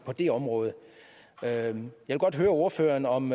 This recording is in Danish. det område jeg vil godt høre ordføreren om